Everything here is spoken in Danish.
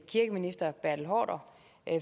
kirkeminister bertel haarder